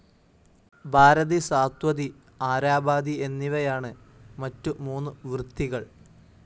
ഭാരതി സാത്വതി ആരാബാദി എന്നിവയാണ് മറ്റു മൂന്നു വൃത്തികൾ.